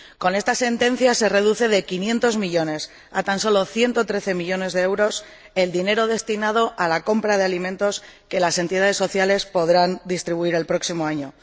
Con esta sentencia se reduce de 500 millones a tan solo 113 millones de euros el dinero destinado a la compra de alimentos que las entidades sociales podrán distribuir el próximo año.